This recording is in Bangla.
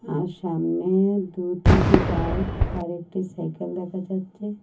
আর সামনে দু তিনটি বাইক আরেকটি সাইকেল দেখা যাচ্ছে।